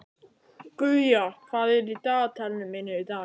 Guja, hvað er í dagatalinu mínu í dag?